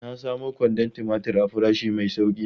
Na samu kwandon tumatir a farashi mai sauki yau.